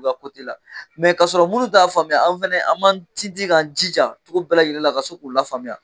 La la. kasɔrɔ munnu t'a faamuya anw fɛnɛ an b'an tintin k'an jija cogo bɛɛ lajɛlen la ka se k'u lafaamuya.